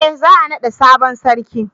eh za a nada sabon sarki